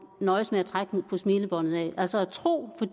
nøjes med at trække på smilebåndet af altså at tro